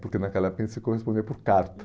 Porque naquela época a gente se correspondia por carta.